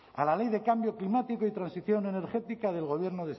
a la ley de cambio climático y transición energética del gobierno